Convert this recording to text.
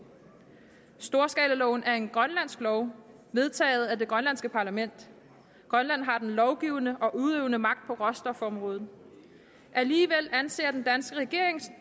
storskalaloven er en grønlandsk lov vedtaget af det grønlandske parlament grønland har den lovgivende og udøvende magt på råstofområdet alligevel anser den danske regering